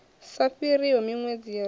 sa fhiriho minwedzi ya rathi